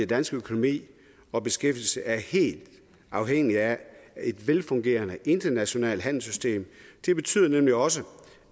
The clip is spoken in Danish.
dansk økonomi og beskæftigelse er helt afhængig af et velfungerende internationalt handelssystem det betyder nemlig også